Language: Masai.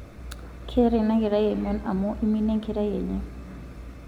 keeta ina kerai emion amuu iminie enkerai enye